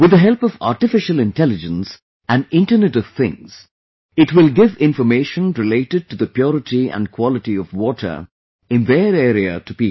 With the help of Artificial Intelligence and Internet of things , it will give information related to the purity and quality of water in their area to people